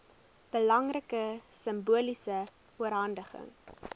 belangrike simboliese oorhandiging